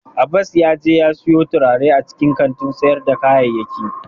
Abbas yaje ya siyo turare a cikin kantin sayar da kayayyaki.